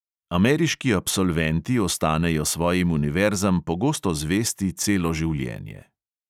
Ameriški absolventi ostanejo svojim univerzam pogosto zvesti celo življenje.